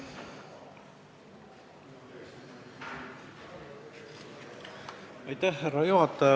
Härra juhataja!